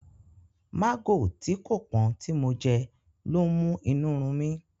Mágò tí kò pọ́n tí mo jẹ lọ́ ń mú inú run mí.